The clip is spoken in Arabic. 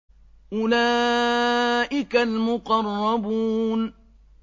أُولَٰئِكَ الْمُقَرَّبُونَ